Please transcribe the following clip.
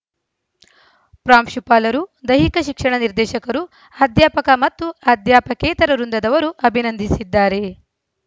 ಪ್ರಾಂಶುಪಾಲರು ದೈಹಿಕ ಶಿಕ್ಷಣ ನಿರ್ದೇಶಕರು ಅಧ್ಯಾಪಕ ಮತ್ತು ಅಧ್ಯಾಪಕೇತರ ವೃಂದದವರು ಅಭಿನಂದಿಸಿದ್ದಾರೆ